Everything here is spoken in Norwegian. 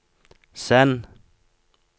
send